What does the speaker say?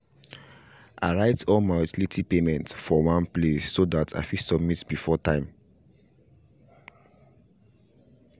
i write all my utility payments for one place so that i fit submit before time